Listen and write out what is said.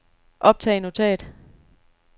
optag notat